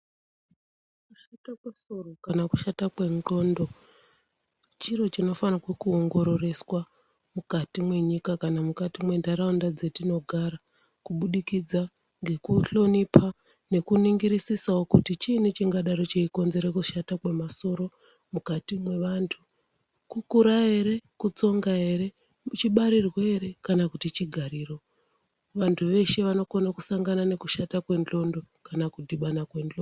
Kushata kwesoro kana kuti kushata kwendxondo, chiro chinofanirwa kuwongororeswa mukati menyika kana mukati mentaraunda dzatinogara kubukidza ngekuhlonipha, nekuningirisisawo kuti chini chingadero chichikonzera kushata kwemasoro mukati mevantu, kukura here ?, kutsonga here ?,muchibarirwa here ? kana kuti chigariro? Vantu vese vanokone kusangana nekushata ngdxondo kana kudibana kwendxondo.